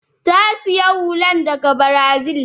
ta sayi hullan daga Brazil.